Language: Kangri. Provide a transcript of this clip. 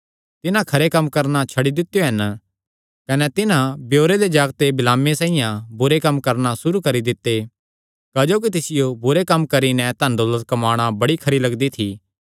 तिन्हां खरे कम्म करणा छड्डी दित्यो हन कने तिन्हां बिओरे दे जागते बिलामे साइआं बुरे कम्म करणा सुरू करी दित्ते क्जोकि तिसियो बुरे कम्म करी नैं धनदौलत कम्माणा बड़ी खरी लगदी थी